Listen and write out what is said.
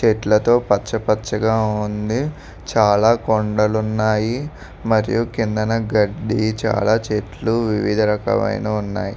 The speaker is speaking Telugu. చెట్లతో పచ్చ పచ్చగా ఉంది చాలా కొండలు ఉన్నాయి మరియు కిందన గడ్డి చాలా చెట్లు వివిధ రకమైనవి ఉన్నాయి.